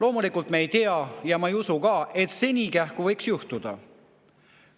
Me ei tea, kas see võiks – ma ise ka ei usu seda – nii kähku juhtuda.